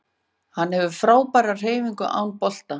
Hann hefur frábærar hreyfingar án bolta